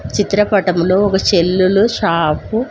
చిత్రపటంలో ఒక చెల్లులు షాపు .